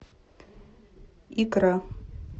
икра